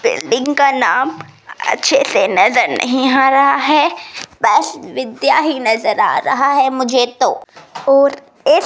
building का नाम अच्छे से नज़र नहीं आ रहा है बस विद्या हीं नज़र आ रहा है मुझे तो और इस --